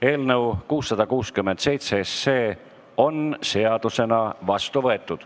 Eelnõu 667 on seadusena vastu võetud.